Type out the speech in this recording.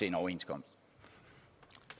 en overenskomst